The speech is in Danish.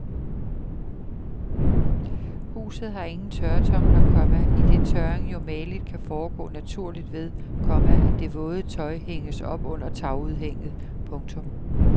Huset har ingen tørretumbler, komma idet tørring jo mageligt kan foregå naturligt ved, komma at det våde tøj hænges op under tagudhænget. punktum